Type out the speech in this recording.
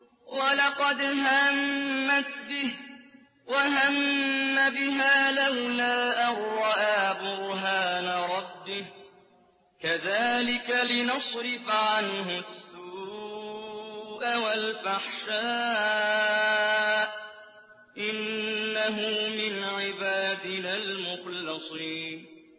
وَلَقَدْ هَمَّتْ بِهِ ۖ وَهَمَّ بِهَا لَوْلَا أَن رَّأَىٰ بُرْهَانَ رَبِّهِ ۚ كَذَٰلِكَ لِنَصْرِفَ عَنْهُ السُّوءَ وَالْفَحْشَاءَ ۚ إِنَّهُ مِنْ عِبَادِنَا الْمُخْلَصِينَ